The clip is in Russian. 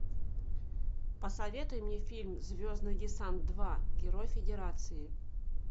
посоветуй мне фильм звездный десант два герой федерации